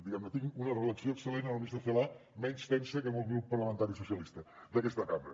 diguem ne tinc una relació excel·lent amb la ministra celaá menys tensa que amb el grup parlamentari socialistes d’aquesta cambra